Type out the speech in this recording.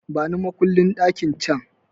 Bani makullin ɗakin can!